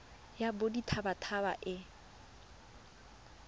ya bodit habat haba e